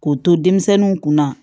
K'o to denmisɛnninw kunna